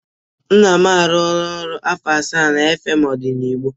Nna m arụọla ọrụ afọ asaa na FM Odenigbo.